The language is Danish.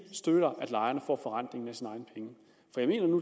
støtter at lejerne får forrentningen af